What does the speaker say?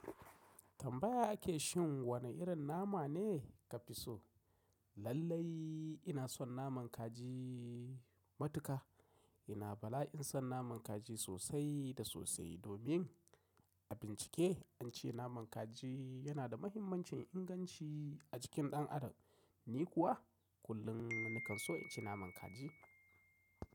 Tambaya ake shan wane irin nama ne ka fi so? Lallai ina son naman kaji matuƙa. Ina bala'in son naman kaji sosai da sosai domin a bincike an ce naman kaji yana da mahimmancin inganci a cikin dan Adam. Ni kuwa kullum nakan so in ci naman kaji.